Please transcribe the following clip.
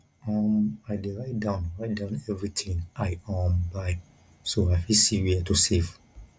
um i dey write down write down everything i um buy so i fit see where to save